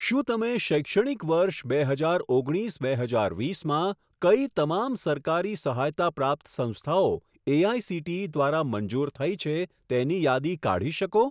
શું તમે શૈક્ષણિક વર્ષ બે હજાર ઓગણીસ બે હજાર વીસમાં કઈ તમામ સરકારી સહાયતા પ્રાપ્ત સંસ્થાઓ એઆઇસીટીઈ દ્વારા મંજૂર થઈ છે તેની યાદી કાઢી શકો?